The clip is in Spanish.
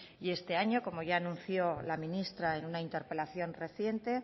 y este año como ya anunció la ministra en una interpelación reciente